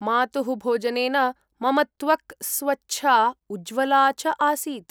मातुः भोजनेन मम त्वक्‌ स्वच्छा उज्ज्वला च आसीत्।